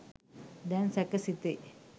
දැන් සැක සිතේ!